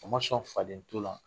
O ma sɔn faden to la